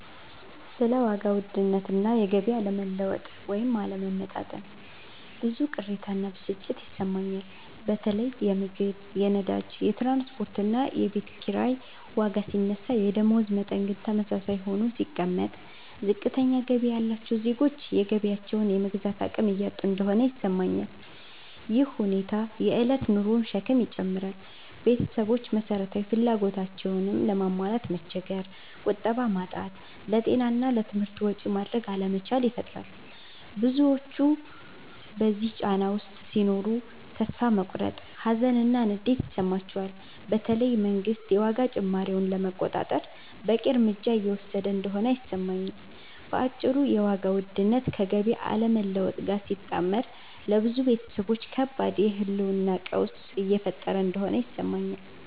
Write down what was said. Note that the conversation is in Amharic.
ስለ ዋጋ ውድነት እና የገቢ አለመለወጥ (ወይም አለመመጣጠን) ብዙ ቅሬታ እና ብስጭት ይሰማኛል። በተለይ የምግብ፣ የነዳጅ፣ የትራንስፖርት እና የቤት ኪራይ ዋጋ ሲነሳ የደመወዝ መጠን ግን ተመሳሳይ ሆኖ ሲቀመጥ፣ ዝቅተኛ ገቢ ያላቸው ዜጎች የገቢያቸውን የመግዛት አቅም እያጡ እንደሆነ ይሰማኛል። ይህ ሁኔታ የእለት ኑሮን ሸክም ይጨምራል – ቤተሰቦች መሰረታዊ ፍላጎቶቻቸውንም ለማሟላት መቸገር፣ ቁጠባ ማጣት፣ ለጤና እና ለትምህርት ወጪ ማድረግ አለመቻል ይፈጥራል። ብዙዎች በዚህ ጫና ውስጥ ሲኖሩ ተስፋ መቁረጥ፣ ሀዘን እና ንዴት ይሰማቸዋል፤ በተለይ መንግስት የዋጋ ጭማሪውን ለመቆጣጠር በቂ እርምጃ እየወሰደ እንደሆነ አይሰማኝም። በአጭሩ የዋጋ ውድነት ከገቢ አለመለወጥ ጋር ሲጣመር ለብዙ ቤተሰቦች ከባድ የህልውና ቀውስ እየፈጠረ እንደሆነ ይሰማኛል።